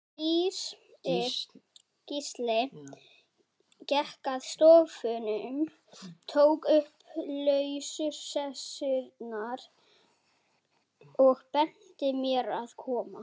Gísli gekk að sófanum, tók upp lausar sessurnar, og benti mér að koma.